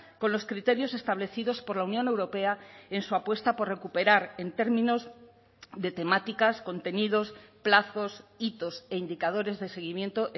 con los criterios establecidos por la unión europea en su apuesta por recuperar en términos de temáticas contenidos plazos hitos e indicadores de seguimiento